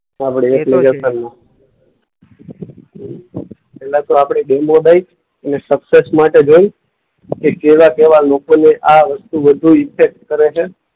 પહેલા તો આપણે ડેમો દઈશ અને સક્સેસ માટે જઈશ કે કેવા-કેવા લોકોને આ વસ્તુ વધુ ઈફેક્ટ કરે છે.